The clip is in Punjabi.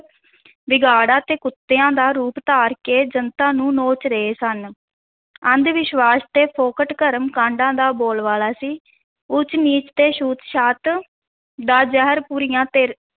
ਬਘਿਆੜਾਂ ਤੇ ਕੁੱਤਿਆਂ ਦਾ ਰੂਪ ਧਾਰ ਕੇ ਜਨਤਾ ਨੂੰ ਨੋਚ ਰਹੇ ਸਨ ਅੰਧ-ਵਿਸ਼ਵਾਸਾਂ ਤੇ ਫੋਕਟ ਕਰਮ ਕਾਂਡਾਂ ਦਾ ਬੋਲਬਾਲਾ ਸੀ, ਊਚ-ਨੀਚ ਤੇ ਛੂਤ-ਛਾਤ ਦਾ ਜ਼ਹਿਰ ਬੁਰੀਆਂ ਤੇ